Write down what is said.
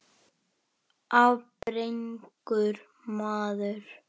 Ábyrgur maður.